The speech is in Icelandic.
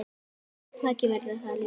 Maggi verður það líka.